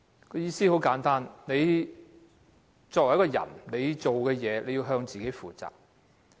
意思很簡單，自己所做的事情，要向自己負責。